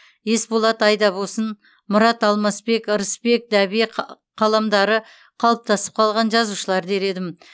есболат айдабосын мұрат алмасбек ырысбек дәбей қаламдары қалыптасып қалған жазушылар дер едім